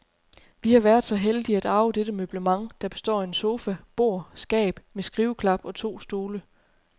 Vi har været så heldige at arve dette møblement, der består af en sofa, bord, skab med skriveklap og to stole.